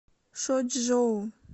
шочжоу